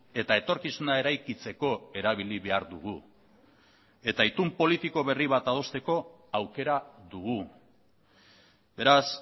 eta etorkizuna eraikitzeko erabili behar dugu eta itun politiko berri bat adosteko aukera dugu beraz